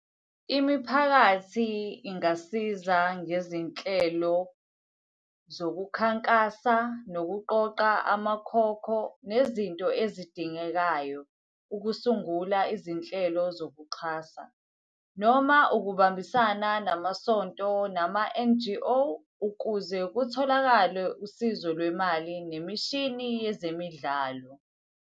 Imiphakathi ingasiza ngezinhlelo zokukhankasa, nokuqoqa amakhokho, nezinto ezidingekayo ukusungula izinhlelo zokuxhasa. Noma ukubambisana namasonto nama-N_G_O, ukuze kutholakale usizo lwemali, nemishini yezemidlalo.